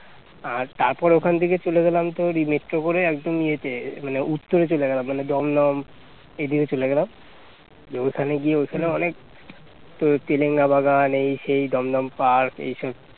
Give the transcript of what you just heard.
আর তারপর ওখান থেকে চলে গেলাম তো metro করে একদম ইয়েতে মানে উত্তরে চলে গেলাম মানে দমদম এদিকে চলে গেলাম দিয়ে ওখানে গিয়ে ওখানে অনেক তোর তেরঙ্গা বাগান এই সেই দমদম পার্ক এইসব